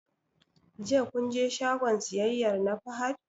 Jiya kun je shagon siyayyar na Fahad?